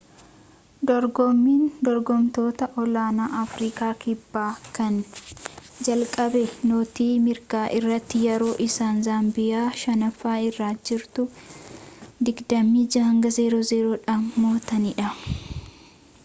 dorgoommiin dorgomtoota olaanoo afriikaa kibbaa kan jalqabe nootii mirgaa irratti yeroo isaan zaambiyaa 5ffaa irrra jirtu 26-00 dhaan mo'atanidha